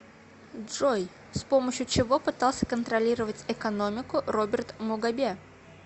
джой с помощью чего пытался контролировать экономику роберт мугабе